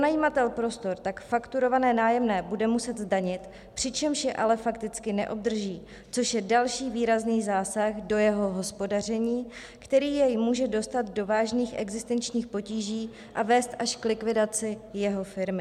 Pronajímatel prostor tak fakturované nájemné bude muset zdanit, přičemž je ale fakticky neobdrží, což je další výrazný zásah do jeho hospodaření, který jej může dostat do vážných existenčních potíží a vést až k likvidaci jeho firmy.